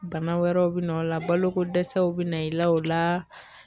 Bana wɛrɛw bi na o la baloko dɛsɛw be na i la o laa